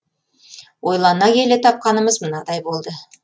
ойлана келе тапқанымыз мынадай болды